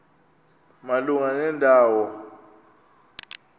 malunga nenda wo